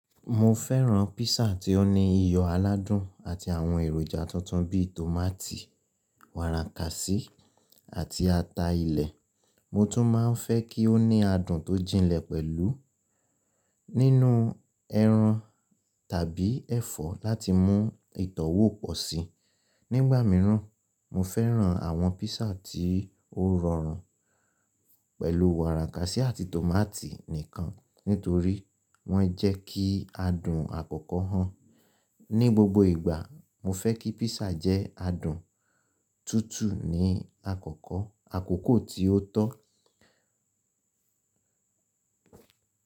Mo fẹ́ran píṣà tí ó ní iyọ̀ aládùn àti àwọn èròjà tuntun bí i tòmátì, wàràkàsí, àti ata ilẹ̀. Mo tún máa ń fẹ́ kí ó ní adùn tó jinlẹ̀ pẹ̀lú nínú ẹran tàbí ẹ̀fọ́ láti mú ìtọ́wò pò si. Nígbà mìíràn, mo fẹ́ran àwọn píṣà tí ó rọrùn pẹ̀lú wàràkàsí àti tòmátì nìkan nítorí wọ́n jẹ́ kí adùn àkọ́kọ́ hàn. Ni gbogbo ìgbà, mo fẹ́ kí píṣà jẹ́ adùn tútù ní àkọ́kọ́, àkókò tí ó tó.